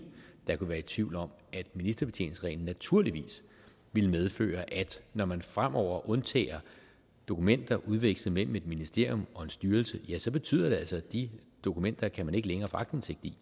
der kunne være i tvivl om at ministerbetjeningsreglen naturligvis ville medføre at når man fremover undtager dokumenter udvekslet mellem et ministerium og en styrelse så betyder det altså at de dokumenter kan man ikke længere få aktindsigt i